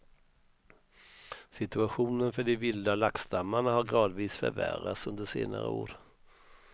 Situationen för de vilda laxstammarna har gradvis förvärrats under senare år.